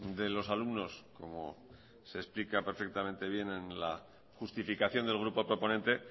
de los alumnos como se explica perfectamente bien en la justificación del grupo proponente